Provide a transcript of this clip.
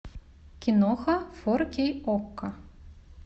киноха фор кей окко